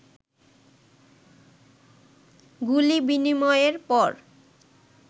গুলি বিনিময়ের পর